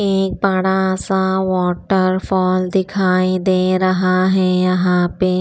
एक बड़ा सा वॉटरफॉल दिखाई दे रहा है यहां पे।